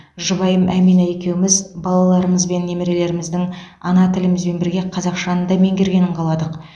жұбайым әмина екеуміз балаларымыз мен немерелеріміздің ана тілімізбен бірге қазақшаны да меңгергенін қаладық